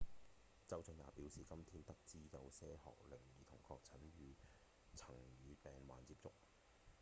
州長也表示：「今天我們得知有些學齡兒童確定曾與病患接觸」